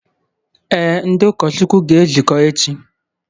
Ee, ndị ụkọchukwu ga-ezukọ echi